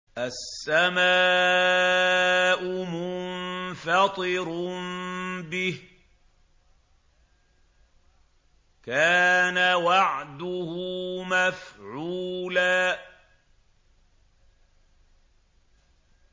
السَّمَاءُ مُنفَطِرٌ بِهِ ۚ كَانَ وَعْدُهُ مَفْعُولًا